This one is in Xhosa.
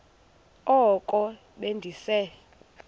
oko be ndise